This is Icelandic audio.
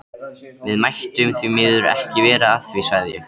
Við mættum því miður ekki vera að því, sagði ég.